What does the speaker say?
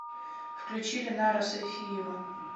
включи ленара сайфиева